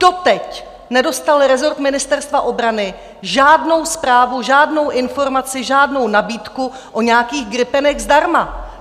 Doteď nedostal rezort Ministerstva obrany žádnou zprávu, žádnou informaci, žádnou nabídku o nějakých gripenech zdarma!